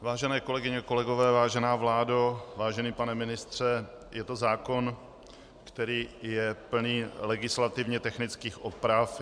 Vážené kolegyně, kolegové, vážená vládo, vážený pane ministře, je to zákon, který je plný legislativně technických oprav.